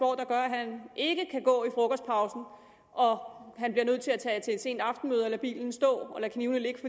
han ikke kan gå i frokostpausen og og han bliver nødt til at tage til et sent aftenmøde og lade bilen stå og lade knivene ligge